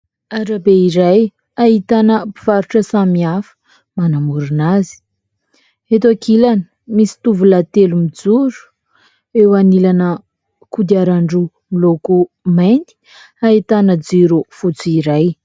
Arabe iray ahitana mpivarotra samihafa manamorina azy. Eto ankilany misy tovolahy telo mijoro ; eo anilana kodiaran-droa miloko mainty ahitana jiro fotsy iray.